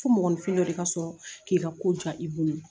Fo mɔgɔninfin dɔ de ka sɔrɔ k'i ka ko diya i bolo